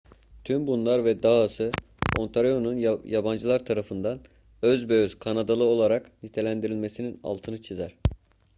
tüm bunlar ve dahası ontario'nun yabancılar tarafından özbeöz kanadalı olarak nitelendirilmesinin altını çizer